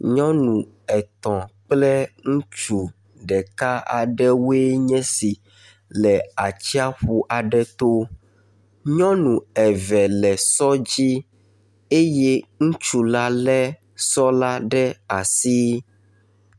Nyɔnu etɔ̃ kple ŋutsu ɖeka aɖewoe nye esi le atsiƒu aɖe to. Nyɔnu eve le sɔ dzi eye ŋutsu la lé sɔ la ɖe asi.